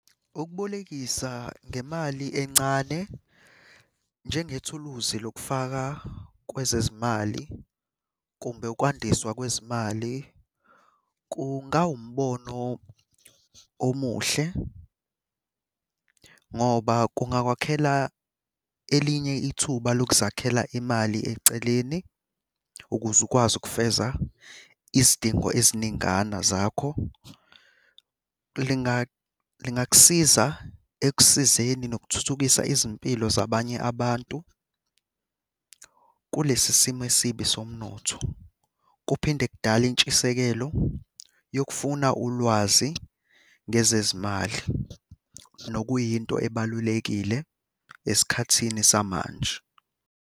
Ukubolekisa ngemali encane njengethuluzi lokufaka kwezezimali kumbe ukwandiswa kwezimali kungawumbono omuhle ngoba kungakwakhela elinye ithuba lokuzakhela imali eceleni ukuze ukwazi ukufeza izidingo eziningana zakho. Lingakusiza ekusizeni nokuthuthukisa izimpilo zabanye abantu kulesi simo esibi somnotho. Kuphinde kudale intshisekelo yokufuna ulwazi ngezezimali. Nokuyinto ebalulekile esikhathini samanje.